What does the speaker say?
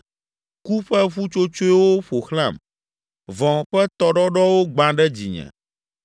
Ku ƒe ƒutsotsoewo ƒo xlãm, vɔ̃ ƒe tɔɖɔɖɔwo gbã ɖe dzinye.